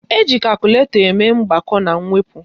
Eji kakụlatọ eme mgbakọ na mwepụ